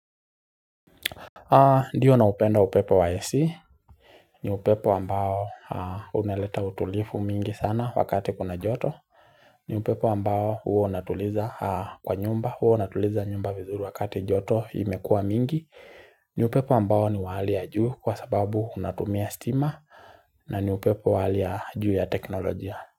Ndio naupenda upepo wa AC, ni upepo ambao unaleta utulivu mingi sana wakati kuna joto ni upepo ambao huwa unatuliza kwa nyumba, huwa unatuliza nyumba vizuri wakati joto imekua mingi ni upepo ambao ni wa hali ya juu kwa sababu unatumia stima na ni upepo wali ya juu ya teknolojia.